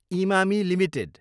Emami Ltd